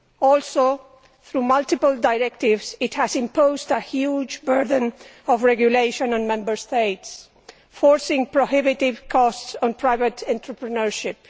Also, through multiple directives, it has imposed a huge burden of regulation on Member States, forcing prohibitive costs on private entrepreneurship.